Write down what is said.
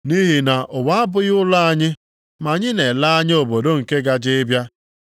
Nʼihi na ụwa abụghị ụlọ anyị, ma anyị na-ele anya obodo nke gaje ịbịa.